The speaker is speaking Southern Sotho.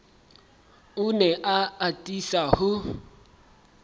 o ne a atisa ho